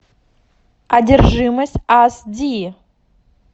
одержимость ас ди